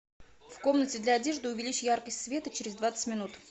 в комнате для одежды увеличь яркость света через двадцать минут